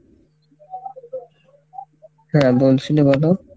হ্যাঁ বলসিলে বলো।